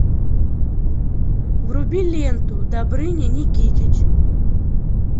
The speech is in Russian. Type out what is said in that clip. вруби ленту добрыня никитич